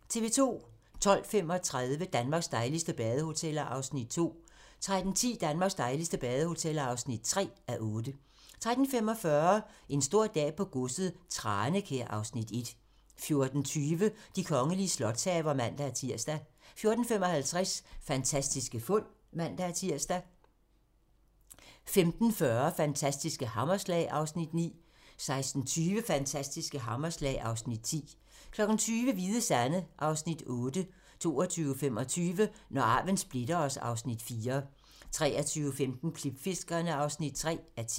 12:35: Danmarks dejligste badehoteller (2:8) 13:10: Danmarks dejligste badehoteller (3:8) 13:45: En stor dag på godset - Tranekær (Afs. 1) 14:20: De kongelige slotshaver (man-tir) 14:55: Fantastiske fund (man-tir) 15:40: Fantastiske hammerslag (Afs. 9) 16:20: Fantastiske hammerslag (Afs. 10) 20:00: Hvide Sande (Afs. 7) 22:25: Når arven splitter os (Afs. 4) 23:15: Klipfiskerne (3:10)